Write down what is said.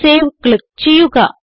save click ചെയ്യുക